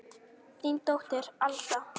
Þín dóttir Alda.